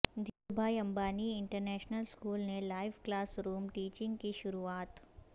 دھیرو بھائی Ambani International School نے live classroom teaching کی شروعات